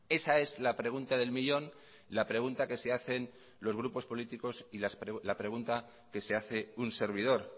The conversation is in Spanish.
esa es la pregunta del millón la pregunta que se hacen los grupos políticos y la pregunta que se hace un servidor